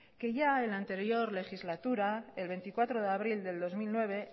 que ya en la anterior legislatura el veinticuatro de abril del dos mil nueve